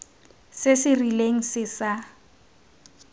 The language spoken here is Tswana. se se rileng se sa